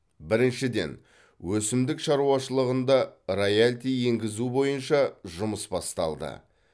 біріншіден өсімдік шаруашылығында раялти енгізу бойынша жұмыс басталды